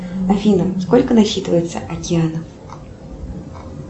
афина сколько насчитывается океанов